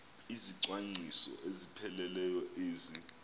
izicwangciso ezipheleleyo ezi